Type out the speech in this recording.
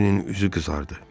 Harvinnin üzü qızardı.